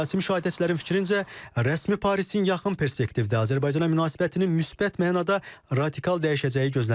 Siyasi müşahidəçilərin fikrincə, rəsmi Parisin yaxın perspektivdə Azərbaycana münasibətinin müsbət mənada radikal dəyişəcəyi gözlənilmir.